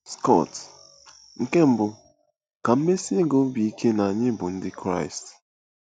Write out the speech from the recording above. Scott: Nke mbụ, ka m mesie gị obi ike na anyị bụ Ndị Kraịst.